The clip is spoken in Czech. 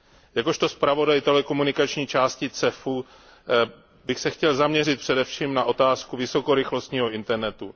Jakožto zpravodaj telekomunikační části CEFU bych se chtěl zaměřit především na otázku vysokorychlostního internetu.